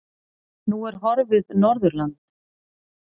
Nú er horfið Norðurland.